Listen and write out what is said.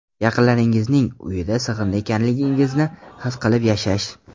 Yaqinlaringizning uyida sig‘indi ekanligingizni his qilib yashash.